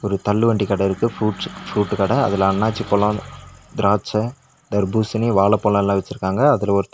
ஒரு தள்ளு வண்டி கட இருக்கு ப்ரூட்ஸ் ப்ருட்டு கட அதுல அண்ணாச்சிபழோ திராச்ச தர்பூசணி வாழப்பழம்லோ எல்லா வச்சிருக்காங்க அதுல ஒரு தா--